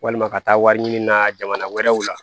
Walima ka taa wari ɲini na jamana wɛrɛw la